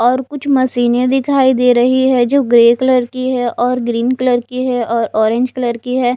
और कुछ मशीनें दिखाई दे रही हैं जो ग्रे कलर की है और ग्रीन कलर की है और ऑरेंज कलर की है।